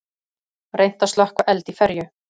Reynt að slökkva eld í ferju